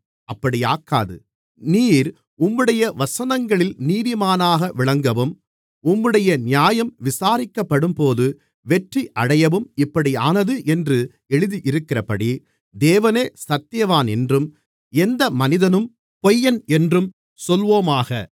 அப்படியாக்காது நீர் உம்முடைய வசனங்களில் நீதிமானாக விளங்கவும் உம்முடைய நியாயம் விசாரிக்கப்படும்போது வெற்றியடையவும் இப்படியானது என்று எழுதியிருக்கிறபடி தேவனே சத்தியவான் என்றும் எந்த மனிதனும் பொய்யன் என்றும் சொல்வோமாக